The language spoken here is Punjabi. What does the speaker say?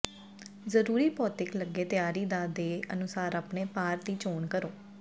ਜ਼ਰੂਰੀ ਭੌਤਿਕ ਲੱਗੇ ਤਿਆਰੀ ਦਾ ਦੇ ਅਨੁਸਾਰ ਆਪਣੇ ਭਾਰ ਦੀ ਚੋਣ ਕਰੋ